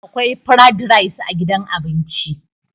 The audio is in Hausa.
akwai frad rice a gidan abinci